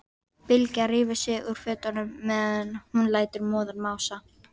Bylgja rífur sig úr fötunum meðan hún lætur móðan mása.